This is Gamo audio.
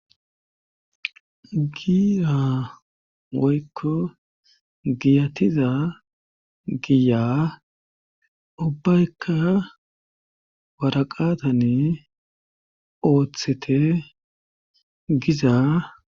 giza oykko giyatiza giya ubbaykka waraqatani ooththete giza